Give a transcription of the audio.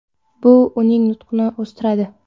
Bu uning nutqini o‘stiradi.